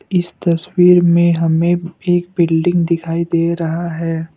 इस तस्वीर में हमें एक बिल्डिंग दिखाई दे रहा है।